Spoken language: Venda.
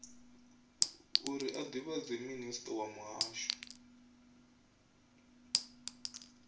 uri a divhadea minisiṱa muhasho